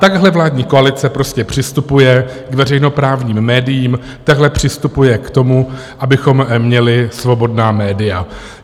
Takhle vládní koalice prostě přistupuje k veřejnoprávním médiím, takhle přistupuje k tomu, abychom měli svobodná média.